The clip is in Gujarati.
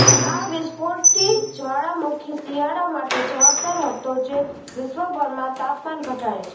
આ વિસ્ફોટથી જ્વાળામુખી શિયાળા માટે જવાબદાર હતો જે વિશ્વભરમાં તાપમાન ઘટાડે છે